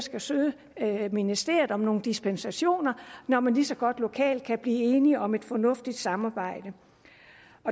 skal søge ministeriet om dispensationer når man lige så godt lokalt kan blive enige om et fornuftigt samarbejde